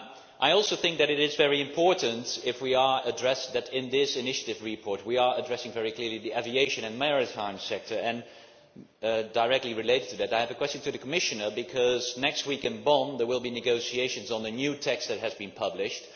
I also think that it is very important that in this own initiative report we are addressing very clearly the aviation and maritime sector, and directly related to that I have a question for the Commissioner, because next week in Bonn there will be negotiations on the new text that has been published.